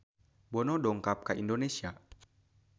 Bono dongkap ka Indonesia